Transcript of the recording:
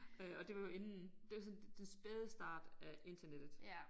Øh og det var jo inden det var sådan den spæde start af internettet